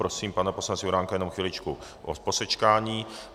Prosím pana poslance Juránka jenom chviličku o posečkání.